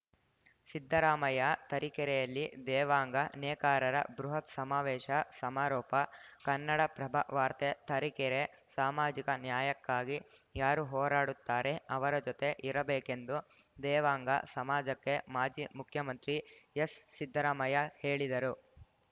ಸಿದ್ದರಾಮಯ್ಯ ತರೀಕೆರೆಯಲ್ಲಿ ದೇವಾಂಗ ನೇಕಾರರ ಬೃಹತ್‌ ಸಮಾವೇಶ ಸಮಾರೋಪ ಕನ್ನಡಪ್ರಭ ವಾರ್ತೆ ತರೀಕೆರೆ ಸಾಮಾಜಿಕ ನ್ಯಾಯಕ್ಕಾಗಿ ಯಾರು ಹೋರಾಡುತ್ತಾರೆ ಅವರ ಜೊತೆ ಇರಬೇಕೆಂದು ದೇವಾಂಗ ಸಮಾಜಕ್ಕೆ ಮಾಜಿ ಮುಖ್ಯಮಂತ್ರಿ ಎಸ್‌ಸಿದ್ದರಾಮಯ್ಯ ಹೇಳಿದರು